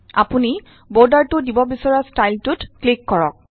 আপুনি বৰ্ডাৰটোত দিব বিচৰা ষ্টাইলটোত ক্লিক কৰক